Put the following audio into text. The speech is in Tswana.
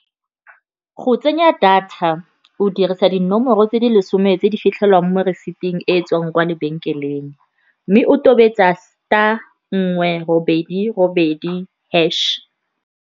Go tsenya data, o dirisa dinomoro tse di lesome tse di fitlhelwang mo receipting e tswang kwa lebenkeleng, mme o tobetsa star nngwe robedi robedi hash.